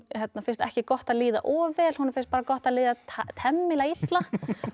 finnst ekki gott að líða of vel honum finnst bara gott að líða temmilega illa